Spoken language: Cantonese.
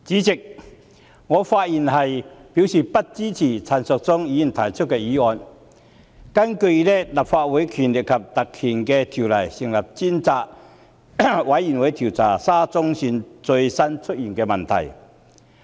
主席，我發言以示不支持陳淑莊議員提出的議案，根據《立法會條例》成立專責委員會，調查沙田至中環線最近出現的問題。